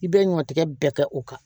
I bɛ ɲɔtigɛ bɛɛ kɛ o kan